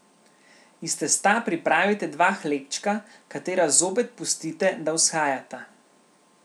Iz testa pripravite dva hlebčka, katera zopet pustite, da vzhajata.